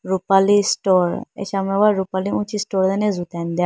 rulali store achawa rupali uchi store dane jutene dega.